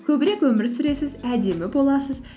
көбірек өмір сүресіз әдемі боласыз